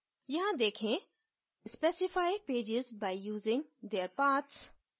यहाँ देखें specify pages by using their paths